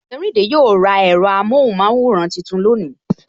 Ojerinde yo ra ẹ̀rọ amohunmaworan tuntun lónìí